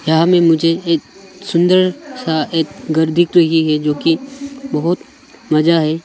यहाँ में मुझे एक सुंदर सा एक घर दिख रही है जो कि बहुत मजा है।